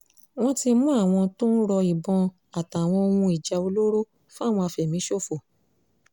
wọ́n ti mú àwọn tó ń ro ìbọn àtàwọn ohun ìjà olóró fáwọn afẹ̀míṣòfò